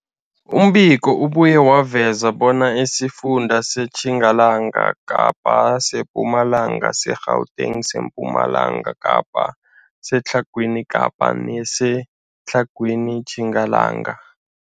Umbiko ubuye waveza bona isifunda seTjingalanga Kapa, seMpumalanga, seGauteng, sePumalanga Kapa, seTlhagwini Kapa neseTlhagwini Tjingalanga.